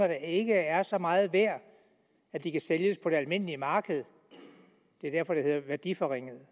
der ikke er så meget værd at de kan sælges på det almindelige marked det er derfor det hedder værdiforringede